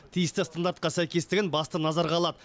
тиісті стандартқа сәйкестігін басты назарға алады